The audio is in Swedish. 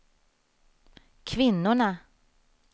kvinnorna